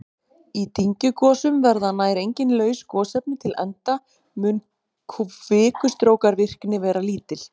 Í dyngjugosum verða nær engin laus gosefni til enda mun kvikustrókavirkni vera lítil.